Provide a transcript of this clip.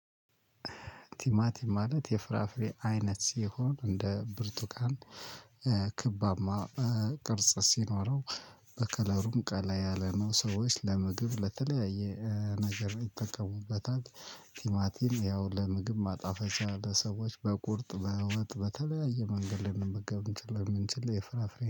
ቲማቲም ማለት የፍራፍሬ አይነት ሲሆን፣ እንደ ብርቱካን ክባማ ቅርጽ ሲኖረው በከለሩም ቀላ ያለ ነው። ሰዎች ለምግብ ለተለያየ ነገር ይጠቀሙበታል። ቲማቲም ያው ለምግብ ማጣፈጫ ለሰዎች በቁርጥ በወጥ በተለያየ መንገድ ልንመገብም ስለምንችል የፍራፍሬ